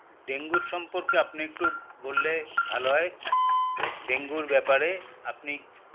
ডেঙ্গুর সম্পর্কে আপনি একটু বললে ভালো হয় ডেঙ্গুর ব্যপারে আপনি